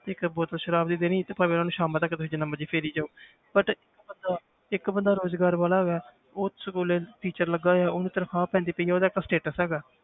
ਇੱਕ ਬੋਤਲ ਸਰਾਬ ਦੀ ਦੇਣੀ ਤੇ ਭਾਵੇਂ ਉਹਨੂੰ ਸ਼ਾਮਾਂ ਤੱਕ ਤੁਸੀਂ ਜਿੰਨਾ ਮਰਜ਼ੀ ਫੇਰੀ ਜਾਓ but ਬੰਦਾ ਇੱਕ ਬੰਦਾ ਰੁਜ਼ਗਾਰ ਵਾਲਾ ਹੈਗਾ ਹੈ ਉਹ school teacher ਲੱਗਾ ਹੋਇਆ ਉਹਨੂੰ ਤਨਖ਼ਾਹ ਪੈਂਦੀ ਪਈ ਹੈ ਉਹਦਾ ਇੱਕ status ਹੈਗਾ ਹੈ,